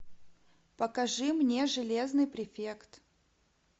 покажи мне железный префект